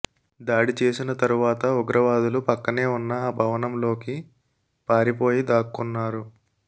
దాడి చేసిన తరువాత ఉగ్రవాదులు పక్కనే ఉన్న ఆ భవనంలోకి పారిపోయి దాక్కొన్నారు